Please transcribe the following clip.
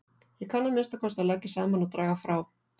Ég kann að minnsta kosti að leggja saman og draga frá